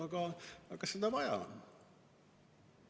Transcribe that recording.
Aga kas seda on vaja?